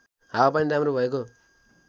हावापानी राम्रो भएको